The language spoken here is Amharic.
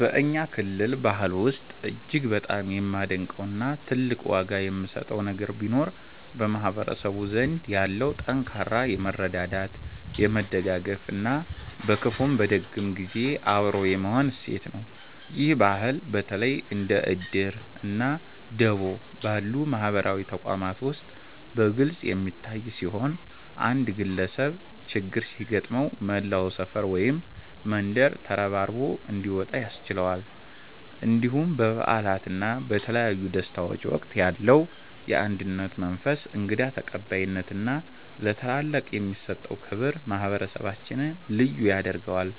በእኛ ክልል ባህል ውስጥ እጅግ በጣም የማደንቀው እና ትልቅ ዋጋ የምሰጠው ነገር ቢኖር በማህበረሰቡ ዘንድ ያለው ጠንካራ የመረዳዳት፣ የመደጋገፍ እና በክፉም በደግም ጊዜ አብሮ የመሆን እሴት ነው። ይህ ባህል በተለይ እንደ 'እድር' እና 'ደቦ' ባሉ ማህበራዊ ተቋማት ውስጥ በግልጽ የሚታይ ሲሆን፣ አንድ ግለሰብ ችግር ሲገጥመው መላው ሰፈር ወይም መንደር ተረባርቦ እንዲወጣ ያስችለዋል። እንዲሁም በበዓላት እና በተለያዩ ደስታዎች ወቅት ያለው የአንድነት መንፈስ፣ እንግዳ ተቀባይነት እና ለታላላቅ የሚሰጠው ክብር ማህበረሰባችንን ልዩ ያደርገዋል።